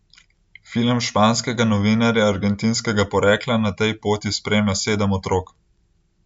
Film španskega novinarja argentinskega porekla na tej poti spremlja sedem otrok.